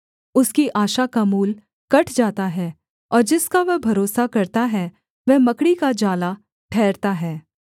उसकी आशा का मूल कट जाता है और जिसका वह भरोसा करता है वह मकड़ी का जाला ठहरता है